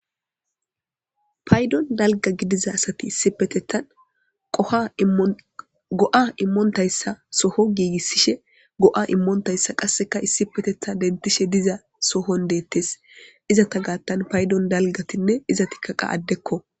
paydon dalga gidiza asati issi petetan qofa go7a immontayssa soho giigissishe go7a immoontayssa qasseka issi petetha dentishe diza sohon deettes izata gaattan paydon dalgatinne iza tikkaqa addekko